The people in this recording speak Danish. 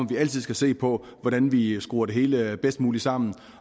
vi altid skal se på hvordan vi skruer det hele bedst muligt sammen